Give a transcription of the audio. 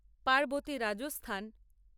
Parvati Rajasthan